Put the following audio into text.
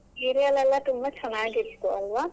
ಮುಂಚೆ serial ಎಲ್ಲಾ ತುಂಬಾ ಚೆನ್ನಾಗಿತ್ತು ಅಲ್ವಾ?